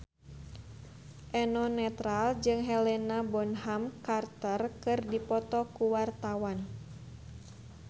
Eno Netral jeung Helena Bonham Carter keur dipoto ku wartawan